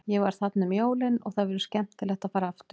Ég var þarna um jólin og það verður skemmtilegt að fara aftur.